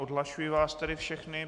Odhlašuji vás tedy všechny.